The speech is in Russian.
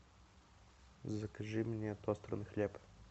закажи мне тостерный хлеб